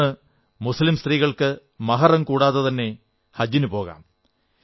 ഇന്ന് മുസ്ലീം സ്ത്രീകൾക്ക് മഹ്റം കൂടാതെതന്നെ ഹജിനു പോകാം